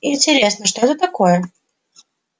интересно что это такое